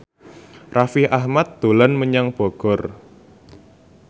Raffi Ahmad dolan menyang Bogor